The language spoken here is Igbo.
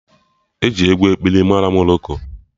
Eji egwu ekpili mara Moroko